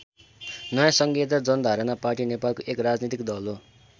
नयाँ सङ्घीयता जनधारणा पार्टी नेपालको एक राजनीतिक दल हो।